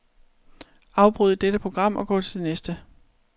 Afbryd dette program og gå til næste.